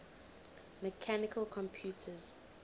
mechanical computers